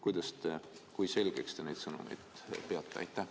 Kui selgeks te neid sõnumeid peate?